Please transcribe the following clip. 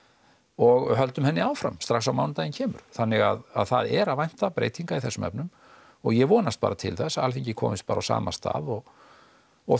og höldum henni áfram strax á mánudaginn kemur þannig að það er að vænta breytinga í þessum efnum og ég vonast bara til þess að Alþingi komist bara á sama stað og og